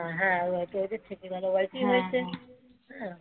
হ্যাঁ ও বাড়িতেই থেকে গেল ও বাড়িতে হয়েছে রয়ে গেল